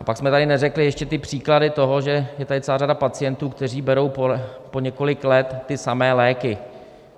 A pak jsme tady neřekli ještě ty příklady toho, že je tady celá řada pacientů, kteří berou po několik let ty samé léky.